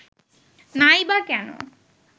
নাই বা কেন